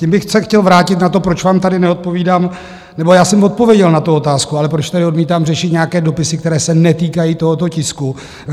Tím bych se chtěl vrátit na to, proč vám tady neodpovídám... nebo já jsem odpověděl na tu otázku, ale proč tady odmítám řešit nějaké dopisy, které se netýkají tohoto tisku.